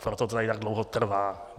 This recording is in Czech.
Proto to tady tak dlouho trvá.